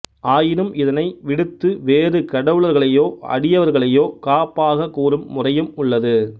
ஆயினும் இதனை விடுத்து வேறு கடவுளர்களையோ அடியவர்களையோ காப்பாகக் கூறும் முறையும் உள்ளது